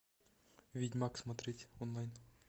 ведьмак смотреть онлайн